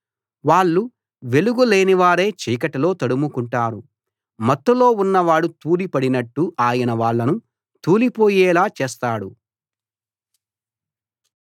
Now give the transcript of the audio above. వాళ్ళు వెలుగు లేనివారై చీకటిలో తడుముకుంటారు మత్తులో ఉన్నవాడు తూలి పడినట్టు ఆయన వాళ్ళను తూలిపోయేలా చేస్తాడు